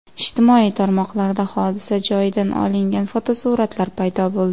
Ijtimoiy tarmoqlarda hodisa joyidan olingan fotosuratlar paydo bo‘ldi .